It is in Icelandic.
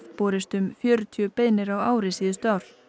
borist um fjörutíu beiðnir á ári síðustu ár